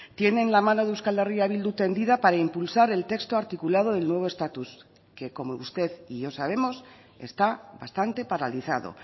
tienen la mano de euskal herria bildu tendida para impulsar el texto articulado del nuevo estatus que como usted y yo sabemos está bastante paralizado